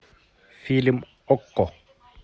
фильм окко